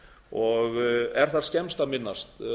og er þar skemmst að minnast